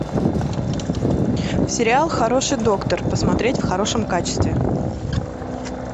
сериал хороший доктор посмотреть в хорошем качестве